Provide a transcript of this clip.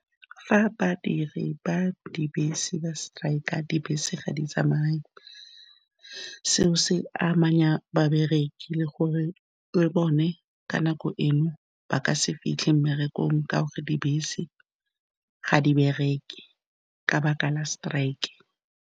Fa badiri ba dibese ba strike, dibese ga di tsamaye. Seo se amanya babereki, le gore le bone ka nako eno ba ka se fitlhe mmerekong ka gore dibese ga di bereke ka baka la strike.